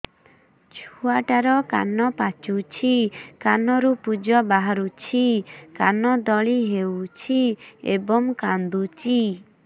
ଛୁଆ ଟା ର କାନ ପାଚୁଛି କାନରୁ ପୂଜ ବାହାରୁଛି କାନ ଦଳି ହେଉଛି ଏବଂ କାନ୍ଦୁଚି